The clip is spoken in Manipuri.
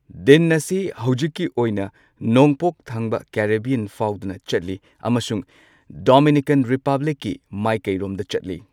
ꯗꯤꯟ ꯑꯁꯤ ꯍꯧꯖꯤꯛꯀꯤ ꯑꯣꯏꯅ ꯅꯣꯡꯄꯣꯛ ꯊꯪꯕ ꯀꯦꯔꯤꯕꯤꯌꯟ ꯐꯥꯎꯗꯨꯅ ꯆꯠꯂꯤ꯫ ꯑꯃꯁꯨꯡ ꯗꯣꯃꯤꯅꯤꯀꯥꯟ ꯔꯤꯄꯕ꯭ꯂꯤꯛꯀꯤ ꯃꯥꯏꯀꯩꯔꯣꯝꯗ ꯆꯠꯂꯤ꯫